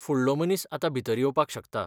फुडलो मनीस आतां भितर येवपाक शकता!